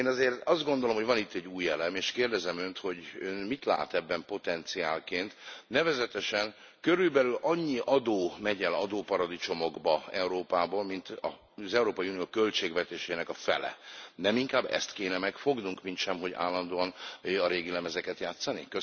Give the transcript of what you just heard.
Én azért azt gondolom, hogy van itt egy új elem, és kérdezem Önt, hogy mit lát ebben potenciálként? Nevezetesen, körülbelül annyi adó megy el adóparadicsomokba Európában, mint az Európai Unió költségvetésének a fele. Nem inkább ezt kéne megfognunk, mintsem hogy állandóan a régi lemezeket játszani?